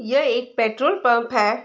यह एक petrol pump है।